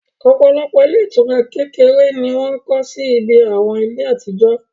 òpòlopò ilé ìtura kekere ni wọ́n kọ́ sí ibi àwọn ilé àtijó